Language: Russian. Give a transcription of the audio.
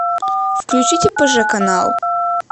включите пэжэ канал